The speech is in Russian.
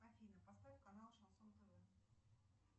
афина поставь канал шансон тв